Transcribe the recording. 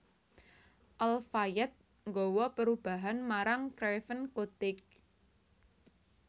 Al Fayed nggawa perubahan marang Craven Cottage